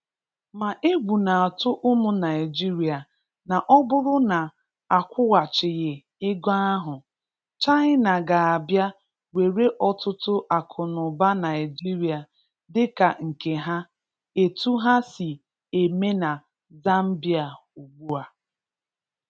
Ma egwu na-atụ ụmụ Naịjirịa na ọ bụrụ na a kwụghachighị ego ahụ, China ga-abịa were ọtụtụ akụnụba Naịjirịa dịka nke ha, etu ha si eme na Zambia ugbu a.